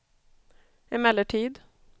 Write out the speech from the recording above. emellertid